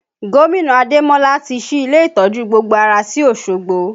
Gomina Ademola ti ṣí ilé ìtọ́jú gbogbo ara sí Osogbo